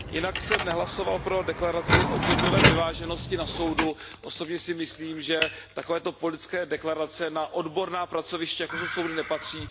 Jinak jsem nehlasoval pro deklaraci o genderové vyváženosti na soudu, osobně si myslím, že takovéto politické deklarace na odborná pracoviště, jako jsou soudy, nepatří.